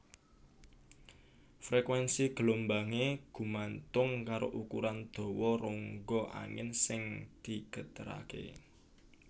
Frekuénsi gelombangé gumantung karo ukuran dawa rongga angin sing digeteraké